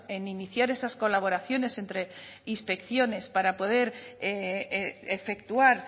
en iniciar esas colaboraciones entre inspecciones para poder efectuar